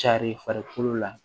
Carin farikolo la